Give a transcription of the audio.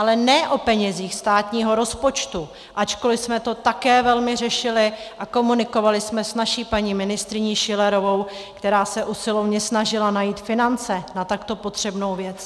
Ale ne o penězích státního rozpočtu, ačkoliv jsme to také velmi řešili a komunikovali jsme s naší paní ministryní Schillerovou, která se usilovně snažila najít finance na takto potřebnou věc.